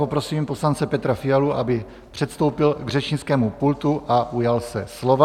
Poprosím poslance Petra Fialu, aby předstoupil k řečnickému pultu a ujal se slova.